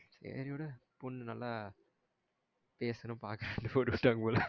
சேரி விடு பொண்ணு நல்லா பேசணும் பார்க்கனும்னு போட்டு விட்ற்றுக்காங்க போல